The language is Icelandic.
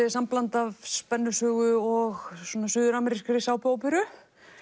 er sambland af spennusögu og suður amerískri sápuóperu